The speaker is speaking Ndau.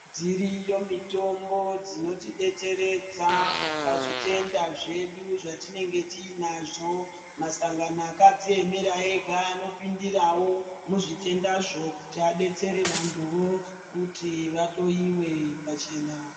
Dziriyo mitombo dzinotidetseredza pazvitenda zvedu zvatinenge tiinazvo. Musangano akadziemera ega anopindirawo muzvitendazvo kuti adetsere vantuvo kuti vahloiwe pachena.